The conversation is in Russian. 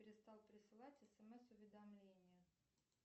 перестал присылать смс уведомления